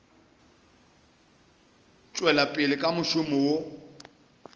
tšwela pele ka mošomo wo